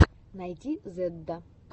найти зэдда